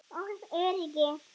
og öryrki.